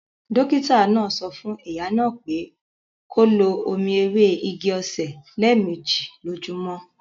Dókítà náà sọ fún ìyá náà pé kó lo omi ewé igi-osè lé méjì lójúmọ́